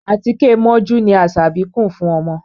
Àtíké mọ́jú ni Asabi kùn fún ọmọ.